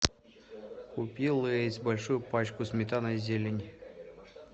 купи лейс большую пачку сметана и зелень